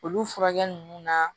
Olu furakɛ nunnu na